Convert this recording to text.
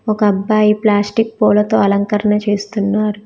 ఒక అబ్బాయి ప్లాస్టిక్ పులతో అలంకారణ చేస్తున్నారు.